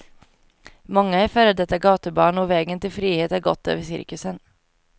Många är före detta gatubarn, och vägen till frihet har gått över cirkusen.